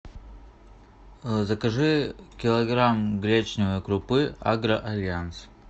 закажи килограмм гречневой крупы агро альянс